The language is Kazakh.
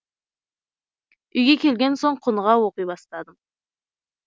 үйге келген соң құныға оқи бастадым